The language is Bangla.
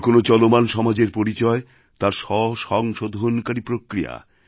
যে কোন চলমান সমাজের পরিচয় তার স্বসংশোধনকারী প্রক্রিয়া